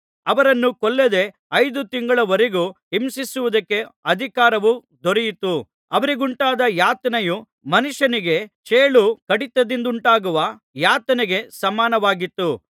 ಅವರನ್ನು ಕೊಲ್ಲದೆ ಐದು ತಿಂಗಳುಗಳವರೆಗೂ ಹಿಂಸಿಸುವುದಕ್ಕೆ ಅಧಿಕಾರವು ದೊರೆಯಿತು ಅವರಿಗುಂಟಾದ ಯಾತನೆಯು ಮನುಷ್ಯನಿಗೆ ಚೇಳು ಕಡಿತದಿಂದುಂಟಾಗುವ ಯಾತನೆಗೆ ಸಮಾನವಾಗಿತ್ತು